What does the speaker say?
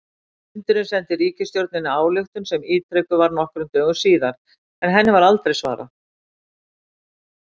Fundurinn sendi ríkisstjórninni ályktun sem ítrekuð var nokkrum dögum síðar, en henni var aldrei svarað.